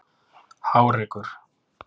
Hárekur